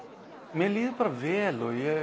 mér líður bara vel og ég